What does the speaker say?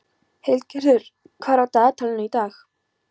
Hildigerður, hvað er á dagatalinu í dag?